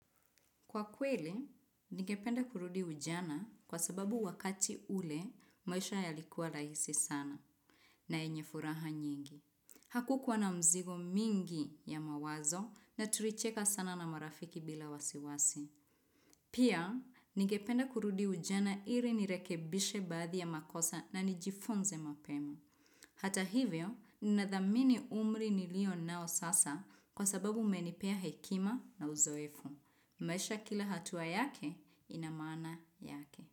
Kwa kweli, ningependa kurudi ujana kwa sababu wakati ule, maisha yalikuwa rahisi sana na yenye furaha nyingi. Hakukuwa na mzigo mingi ya mawazo na tulicheka sana na marafiki bila wasiwasi. Pia, ningependa kurudi ujana ili nirekebishe baadhi ya makosa na nijifunze mapema. Hata hivyo, ninadhamini umri nilionao sasa kwa sababu umenipea hekima na uzoefu. Maisha kila hatua yake inamaana yake.